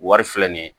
Wari filɛ nin ye